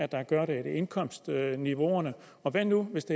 der gør det er det indkomstniveau og hvad nu hvis